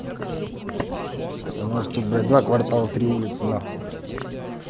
потому что бля два квартала три улицы нахуй